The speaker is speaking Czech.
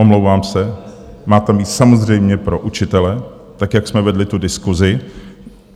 Omlouvám se, má tam být samozřejmě pro učitele, tak jak jsme vedli tu diskusi.